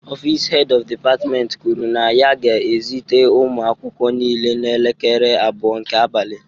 Ọfịs Head of Department kwuru na ya ga-ezute ụmụ akwụkwọ niile n'elekere abụọ nke abalị